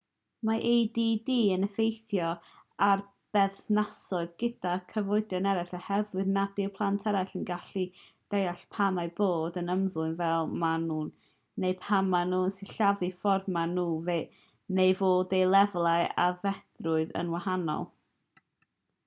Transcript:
mae add yn effeithio ar berthnasoedd gyda chyfoedion eraill oherwydd nad yw plant eraill yn gallu deall pam eu bod yn ymddwyn fel maen nhw neu pam maen nhw'n sillafu'r ffordd maen nhw neu fod eu lefel aeddfedrwydd yn wahanol